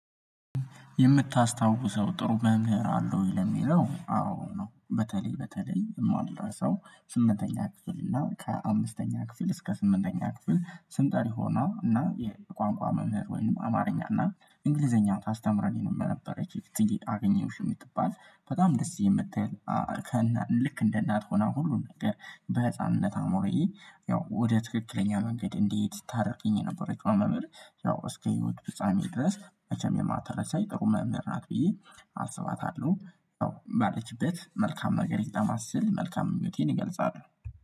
የምታስታውሰው ጥሩ መምህር አለው ወይ? ለሚለው አዎ ነው በተለይ በተለይ የማረሳው ሰው ስምንተኛ ክፍል እና ከአምስተኛ ክፍል እስከ ስምንተኛ ክፍል ስም ጠሪ ሆና እና የቋንቋ መምህር ወይም አማርኛ እና እንግሊዘኛ ታስተምረን የነበረች እትዬ ጌጥ አገኘሁሽ የምትባል በጣም ደስ የምትል። ልክ እንደ እናት ሆና ሁሉን ነገር በህፃንነት አእምሮዬ ያው ወደ ትክክለኛው መንገድ እንዴት ታረቅኝ የነበረችው መምህር። ያው እስከ ህይወት ፍጻሜ ድረስ መቸም የማተረሳይ ጥሩ መምህር ናት ብዬ አስባታለው። ባለችበት መልካም ነገር ይግጠማት ስል መልካም ምኞቴን እገልጻለሁ